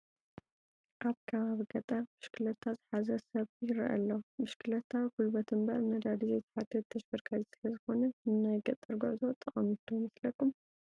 ኣብ ከባቢ ገጠር ብሽክሌታ ዝሓዘ ሰብ ይርአ ኣሎ፡፡ ብሽክሌታ ጉልበት እምበር ነዳዲ ዘይትሓትት ተሽከርካሪት ስለዝኾነት ንናይ ገጠር ጉዕዞ ጠቓሚት ዶ ይመስለኩም?